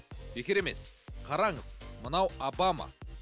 бекер емес қараңыз мынау обама